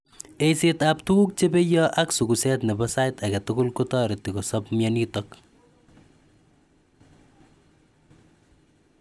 Eisetap tuguk che peya ak suguset nebo sait age tugul kotareti kosap mianatok